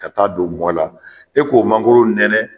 Ka taa don mɔn na, e k'o mangoro nɛnɛ